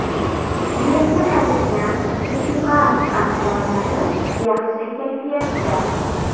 Yerga qaytgan ekipaj a’zolari yaxshi kayfiyatda.